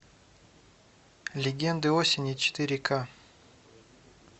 легенды осени четыре к